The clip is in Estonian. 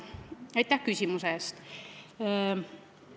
Aitäh küsimuse eest!